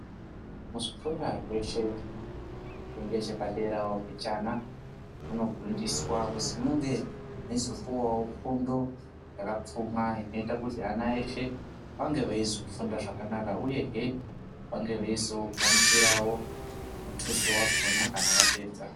Muzvikora zveshe zviri ngechepaderawo mbichana, munofundiswa kuzi muve meizopuwawo fundo yakapfuma inoita kuti ana eshe ange eizofunda zvakanaka, uyehe vange veizogamuchirawo muthuso wakhona kana vapedza.